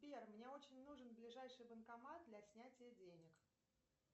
сбер мне очень нужен ближайший банкомат для снятия денег